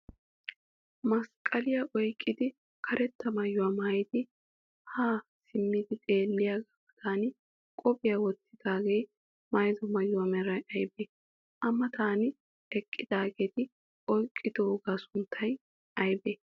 Masqqaliya oyiqqidi karetta mayuwa mayyidi yaa simmi xeelliyagaa matan qophiya wottidaagee mayyido mayuwa meray ayibee? A matan eqqidaageeti oyiqqidoogaa sunttay ayibee?